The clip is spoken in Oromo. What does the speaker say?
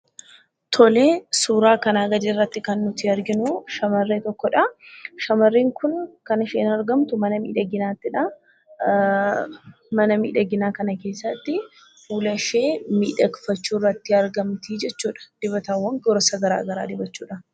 Tole; Suuraa kana gadi irratti kan nuti arginu shamarree tokkodha. shamarreen Kun kan isheen argamtu mana miidhaginaattidha; mana miidhaginaa kana keessatti fuulashee miidhekfachuu irratti argamti jechudha; dibatawwan gosa garaagaraa dibachuudhaan.